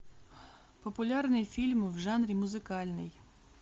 популярный фильм в жанре музыкальный